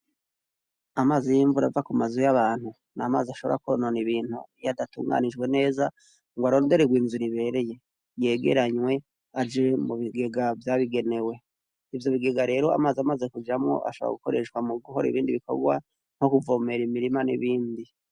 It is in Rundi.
Amazi y'imvura ava kunzu y'abantu n'amazi ashobora kwonona ibintu, iyadatubganijwe neza ngo arondererwe inzira ibereye, yegeranywe aje mubigega vyabigenewe, ivyo bigega rero, amazi amaze kujamwo ashobora gukora mubindi bikorwa nkokubomera imirima, n'ibindi.